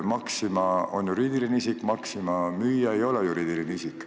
Maxima on juriidiline isik, Maxima müüja ei ole juriidiline isik.